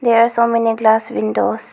There are so many glass windows.